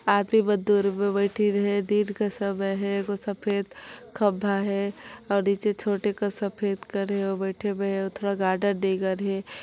आघू म दु रुमे बैठिन हे दिन का समय हैं एगो सफेद खंभा हैं और नीचे छोटे का सफेद कर बईथे हे अऊ गार्डन इहि करा हे।